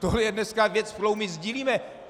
Tohle je dneska věc, kterou my sdílíme.